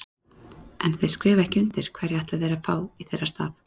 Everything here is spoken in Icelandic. Ef þeir skrifa ekki undir, hverja ætla þeir að fá í þeirra stað?